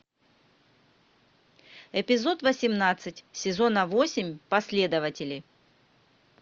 эпизод восемнадцать сезона восемь последователи